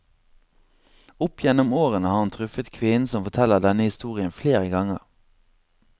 Opp gjennom årene har han truffet kvinnen som forteller denne historien flere ganger.